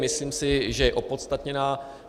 Myslím si, že je opodstatněná.